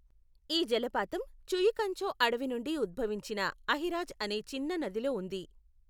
ఈ జలపాతం చుయికంచో అడవి నుండి ఉద్భవించిన అహిరాజ్ అనే చిన్న నదిలో ఉంది.